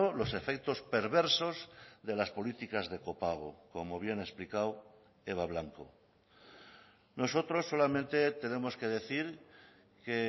los efectos perversos de las políticas de copago como bien ha explicado eva blanco nosotros solamente tenemos que decir que